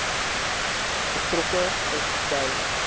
betrokke is by